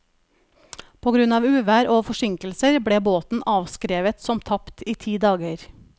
På grunn av uvær og forsinkelser ble båten avskrevet som tapt i ti dager.